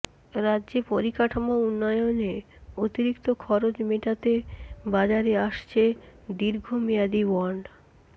রাজ্যে পরিকাঠামো উন্নয়নে অতিরিক্ত খরচ মেটাতে বাজারে আসছে দীর্ঘমেয়াদী বন্ড